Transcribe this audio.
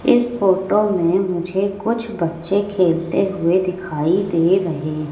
इस फोटो में मुझे कुछ बच्चे खेलते हुए दिखाई दे रहे --